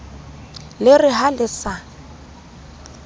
le re ha le sa